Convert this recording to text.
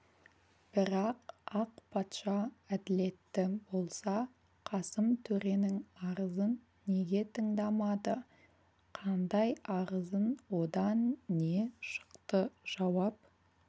бірақ ақ патша әділетті болса қасым төренің арызын неге тыңдамады қандай арызын одан не шықты жауап